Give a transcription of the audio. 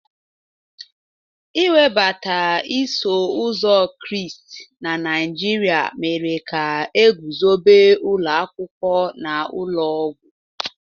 Iwebata iso ụzọ Kraịst na Naijiria mere ka e guzobe ụlọ akwụkwọ na ụlọ ọgwụ.